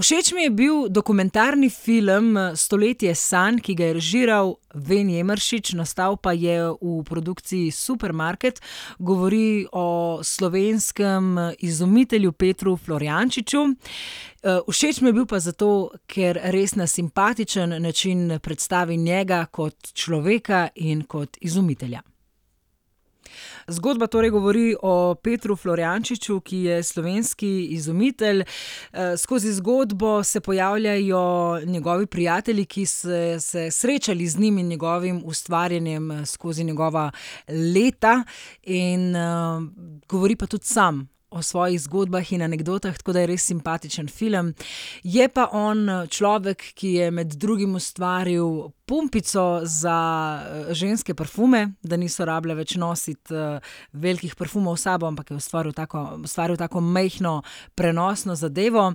Všeč mi je bil dokumentarni film Stoletje sanj, ki ga je režiral Ven Emeršič, nastal pa je v produkciji Supermarket. Govori o slovenskem izumitelju Petru Florjančiču. všeč mi je bil pa zato, ker res na simpatičen način predstavi njega kot človeka in kot izumitelja. Zgodba torej govori o Petru Florjančiču, ki je slovenski izumitelj. skozi zgodbo se pojavljajo njegovi prijatelji, ki se se srečali z njim in njegovim ustvarjanjem skozi njegova leta. In, govori pa tudi sam o svojih zgodbah in anekdotah, tako da je res simpatičen film. Je pa on, človek, ki je med drugim ustvaril pumpico za, ženske parfume, da niso rabile več nositi, velikih parfumov s sabo, ampak je ustvaril tako, ustvaril tako majhno prenosno zadevo.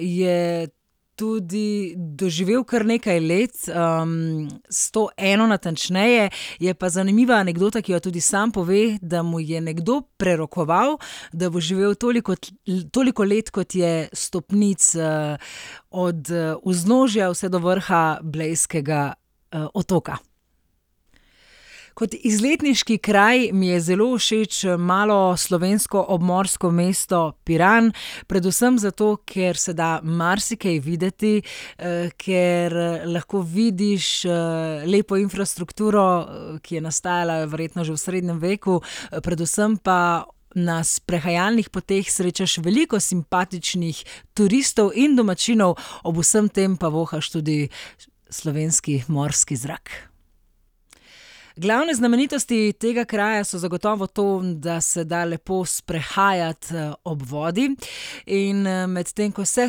je tudi doživel kar nekaj let. sto eno natančneje. Je pa zanimiva anekdota, ki jo tudi sam pove, da mu je nekdo prerokoval, da bo živel toliko toliko let, kot je stopnic, od, vznožja vse do vrha Blejskega, otoka. Kot izletniški kraj mi je zelo všeč malo slovensko obmorsko mesto Piran. Predvsem zato, ker se da marsikaj videti, ker, lahko vidiš, lepo infrastrukturo, ki je nastajala verjetno že v srednjem veku. Predvsem pa na sprehajalnih poteh srečaš veliko simpatičnih turistov in domačinov, ob vsem tem pa vohaš tudi slovenski morski zrak. Glavne znamenitosti tega kraja so zagotovo to, da se da lepo sprehajati, ob vodi, in, medtem ko se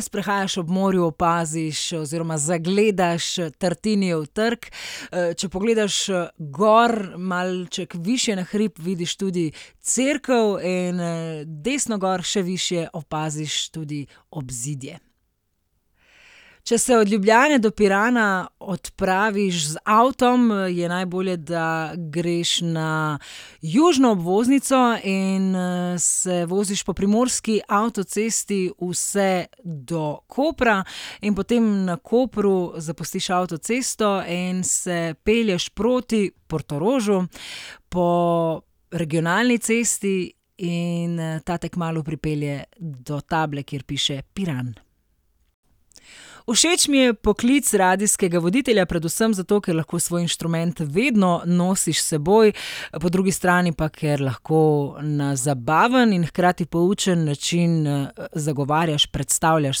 sprehajaš ob morju, opaziš oziroma zagledaš Tartinijev trg. če pogledaš, gor, malček višje na hrib, vidiš tudi cerkev in, desno gor še višje opaziš tudi obzidje. Če se od Ljubljane do Pirana odpraviš z avtom, je najbolje, da greš na južno obvoznico in, se voziš po primorski avtocesti vse do Kopra. In potem na Kopru zapustiš avtocesto in se pelješ proti Portorožu po regionalni cesti in, ta te kmalu pripelje do table, kjer piše Piran. Všeč mi je poklic radijskega voditelja, predvsem zato, ker lahko svoj inštrument vedno nosiš s seboj. Po drugi strani pa, ker lahko na zabaven in hkrati poučen način, zagovarjaš, predstavljaš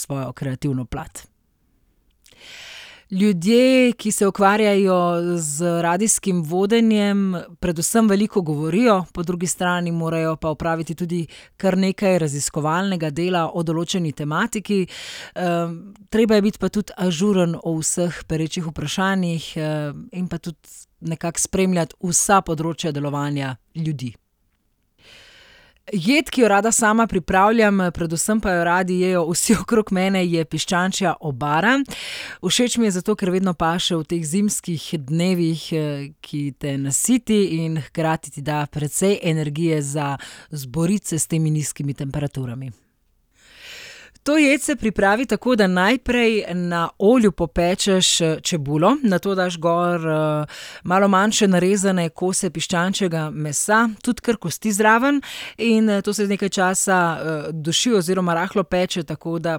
svojo kreativno plat. Ljudje, ki se ukvarjajo z radijskim vodenjem, predvsem veliko govorijo, po drugi strani morajo pa opraviti tudi kar nekaj raziskovalnega dela o določeni tematiki. treba je biti pa tudi ažuren o vseh perečih vprašanjih, in pa tudi nekako spremljati vsa področja delovanja ljudi. Jed, ki jo rada sama pripravljam, predvsem pa jo radi jejo vsi okrog mene, je piščančja obara. Všeč mi je zato, ker vedno paše v teh zimskih dnevih, ki te nasiti in hkrati ti da precej energije za boriti se s temi nizkimi temperaturami. To jed se pripravi tako, da najprej na olju popečeš, čebulo, nato daš gor, malo manjše narezane kose piščančjega mesa, tudi kar kosti zraven. In, to se nekaj časa, duši oziroma rahlo peče, tako da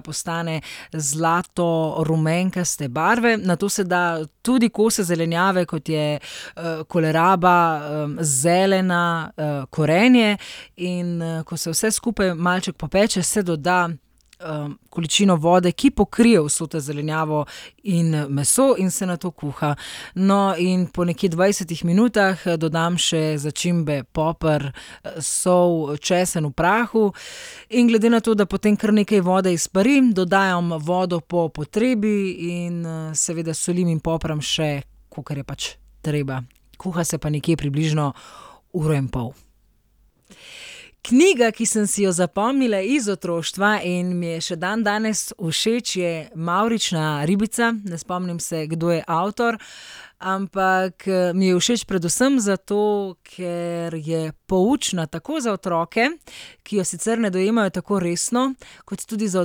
postane zlato rumenkaste barve. Nato se da tudi kose zelenjave, kot je, koleraba, zelena, korenje. In, ko se vse skupaj malček popeče, se doda, količino vode, ki pokrije vso to zelenjavo in, meso in se nato kuha. No, in pol nekje dvajsetih minutah dodam še začimbe. Poper, sol, česen v prahu. In glede na to, da potem kar nekaj vode izpari, dodajam vodo po potrebi in, seveda solim in popram še, kakor je pač treba. Kuha se pa nekje približno uro in pol. Knjiga, ki sem si jo zapomnila iz otroštva in mi je še dandanes všeč, je Mavrična ribica. Ne spomnim se, kdo je avtor. Ampak, mi je všeč predvsem zato, ker je poučna tako za otroke, ki jo sicer ne dojemajo tako resno, kot tudi za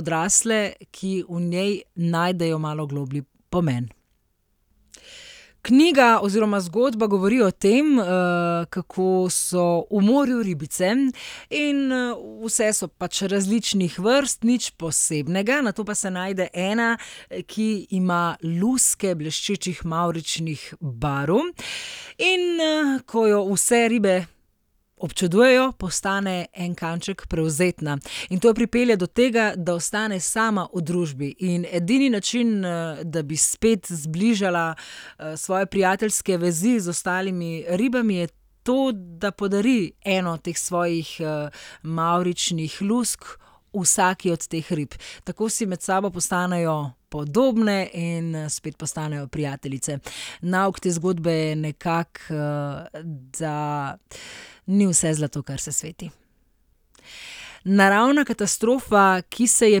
odrasle, ki v njej najdejo malo globlji pomen. Knjiga oziroma zgodba govori o tem, kako so v morju ribice in, vse so pač različnih vrst, nič posebnega, nato pa se najde ena, ki ima luske bleščečih mavričnih barv. In, ko jo vse ribe občudujejo, postane en kanček prevzetna. In to jo pripelje do tega, da ostane sama v družbi. In edini način, da bi spet zbližala, svoje prijateljske vezi z ostalimi ribami, je to, da podari eno teh svojih, mavričnih lusk vsaki od teh rib. Tako si med sabo postanejo podobne in, spet postanejo prijateljice. Nauk te zgodbe je nekako, da ni vse zlato, kar se sveti. Naravna katastrofa, ki se je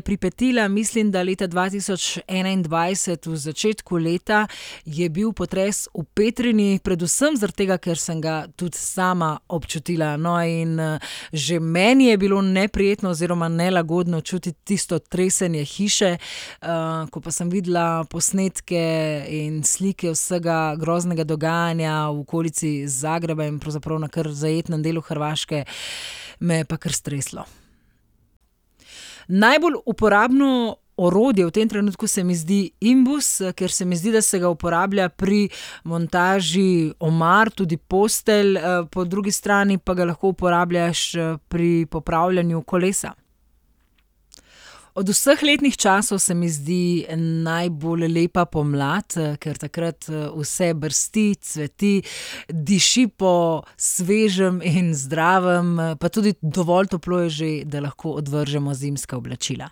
pripetila, mislim, da leta dva tisoč enaindvajset v začetku leta, je bil potres v Petrini. Predvsem zaradi tega, ker sem ga tudi sama občutila. No, in, že meni je bilo neprijetno oziroma nelagodno čutiti tisto tresenje hiše, ko pa sem videla posnetke in slike vsega groznega dogajanja v okolici Zagreba in pravzaprav na kar zajetnem delu Hrvaške, me je pa kar streslo. Najbolj uporabno orodje v tem trenutku se mi zdi imbus, ker se mi zdi, da se ga uporablja pri montaži omar, tudi postelj, po drugi strani pa ga lahko uporabljaš, pri popravljanju kolesa. Od vseh letnih časov se mi zdi najbolj lepa pomlad, ker takrat, vse brsti, cveti, diši po svežem in zdravem, pa tudi dovolj toplo je že, da lahko odvržemo zimska oblačila.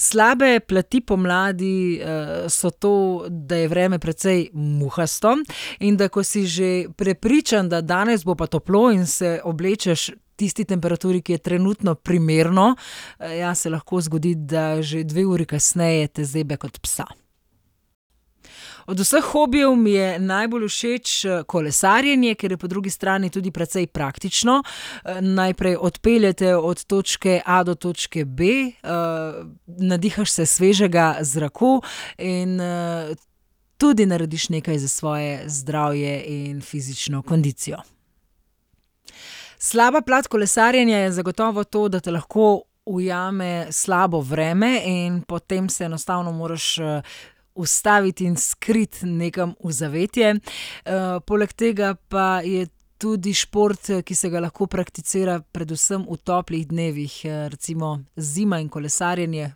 Slabe plati pomladi, so to, da je vreme precej muhasto, in da ko si že prepričan, da danes bo pa toplo, in se oblečeš tisti temperaturi, ki je trenutno, primerno, ja, se lahko zgodi, da že dve uri kasneje te zebe kot psa. Od vseh hobijev mi je najbolj všeč, kolesarjenje, ker je po drugi strani tudi precej praktično. najprej, odpelje te od točke a do točke b, nadihaš se svežega zraka in, tudi narediš nekaj za svoje zdravje in fizično kondicijo. Slaba plat kolesarjenja je zagotovo to, da te lahko ujame slabo vreme in potem se enostavno moraš, ustaviti in skriti nekam v zavetje. poleg tega pa je tudi šport, ki se ga lahko prakticira predvsem v toplih dnevih. recimo zima in kolesarjenje,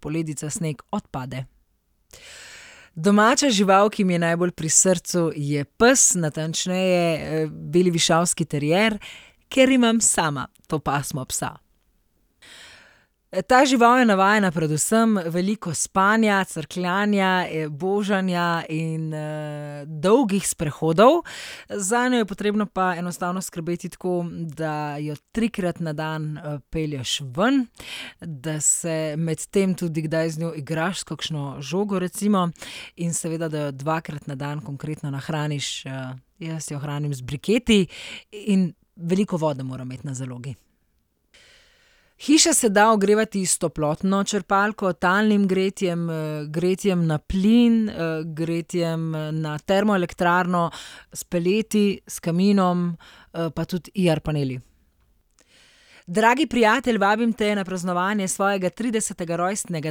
poledica, sneg, odpade. Domača žival, ki mi je najbolj pri srcu, je pes, natančneje, beli višavski terier, ker imam sama to pasmo psa. Ta žival je navajena predvsem veliko spanja, crkljanja, božanja in, dolgih sprehodov. Zanjo je potrebno pa enostavno skrbeti tako, da jo trikrat na dan, pelješ ven, da se medtem tudi kdaj z njo igraš s kakšno žogo recimo in seveda da jo dvakrat na dan konkretno nahraniš. jaz jo hranim z briketi in veliko vode mora imeti na zalogi. Hiša se da ogrevati s toplotno črpalko, talnim gretjem, gretjem na plin, gretjem, na termoelektrarno, s peleti, s kaminom, pa tudi IR-paneli. Dragi prijatelj, vabim te na praznovanje svojega tridesetega rojstnega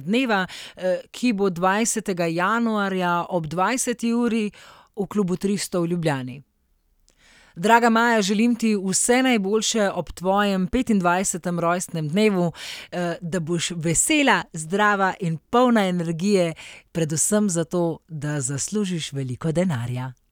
dneva, ki bo dvajsetega januarja ob dvajseti uri v klubu Tristo v Ljubljani. Draga Maja, želim ti vse najboljše ob tvojem petindvajsetem rojstnem dnevu. da boš vesela, zdrava in polna energije, predvsem zato, da zaslužiš veliko denarja.